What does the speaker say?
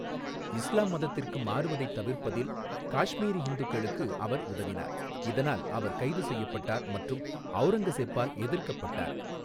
இஸ்லாம் மதத்திற்கு மாறுவதைத் தவிர்ப்பதில் காஷ்மீரி ஹிந்துக்களுக்கு அவர் உதவினார், இதனால் அவர் கைது செய்யப்பட்டார் மற்றும் ஔரங்கஸெப்பால் எதிர்க்கப்பட்டார்.